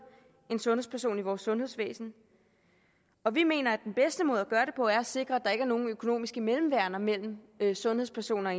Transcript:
en sundhedsperson i vores sundhedsvæsen og vi mener at den bedste måde at gøre det på er sikre at der ikke er nogen økonomiske mellemværender mellem sundhedspersoner